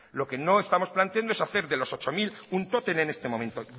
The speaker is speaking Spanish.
lo que no estamos planteando es hacer de los ocho mil un tótem en este momento